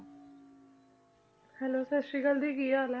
Hello ਸਤਿ ਸ੍ਰੀ ਅਕਾਲ ਦੀ ਕੀ ਹਾਲ ਹੈ?